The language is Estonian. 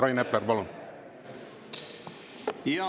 Rain Epler, palun!